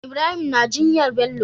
Ibrahim na jinyar Bello